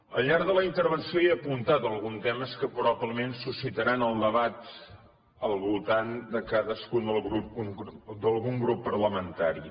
al llarg de la intervenció he apuntat alguns temes que probablement suscitaran el debat al voltant d’algun grup parlamentari